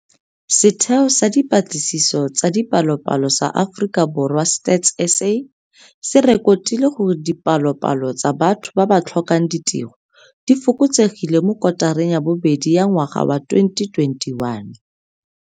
Setheo sa Dipatlisiso tsa Dipalopalo sa Aforika Borwa StatsSA se rekotile gore dipa lopalo tsa batho ba ba tlhokang ditiro di fokotsegile mo kotareng ya bobedi ya ngwaga wa 2021.